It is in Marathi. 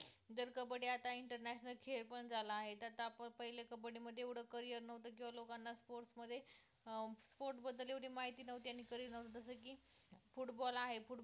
जर कबड्डी आता international खेळ पण झाला आहे, तर आता आपण पहिले कबड्डी मध्ये एवढं career नव्हतं, किंवा लोकांना sport मध्ये sports बद्दल एवढी माहिती नव्हती आणि career नव्हतं जसं की footall आहे football